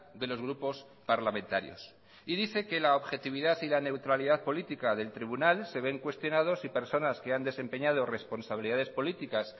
de los grupos parlamentarios y dice que la objetividad y la neutralidad política del tribunal se ven cuestionados y personas que han desempeñado responsabilidades políticas